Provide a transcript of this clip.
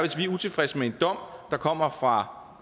utilfredse med en dom der kommer fra